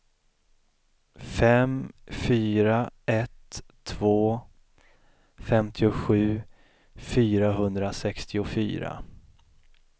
fem fyra ett två femtiosju fyrahundrasextiofyra